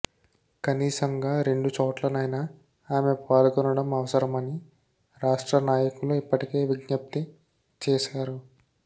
కనీసంగా రెండు చోట్లనైనా ఆమె పాల్గొనడం అవసరమని రాష్ట్ర నాయకులు ఇప్పటికే విజ్ఞప్తి చేశారు